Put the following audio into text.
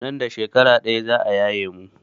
Nan da shekara ɗaya za a yaye mu.